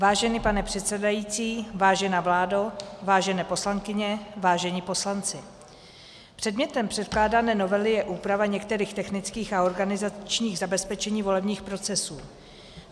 Vážený pane předsedající, vážená vládo, vážené poslankyně, vážení poslanci, předmětem předkládané novely je úprava některých technických a organizačních zabezpečení volebních procesů.